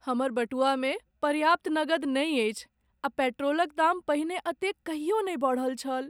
हमर बटुआमे पर्याप्त नगद नहि अछि आ पेट्रोलक दाम पहिने एतेक कहियो नहि बढ़ल छल।